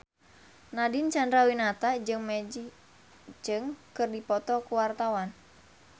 Nadine Chandrawinata jeung Maggie Cheung keur dipoto ku wartawan